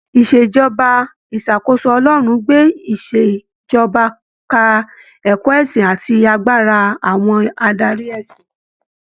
ìṣèjọba ìṣàkóso Ọlọrun gbé ìṣèjọba ka ẹ̀kọ́ ẹ̀sìn àti agbára àwọn adarí ẹ̀sìn.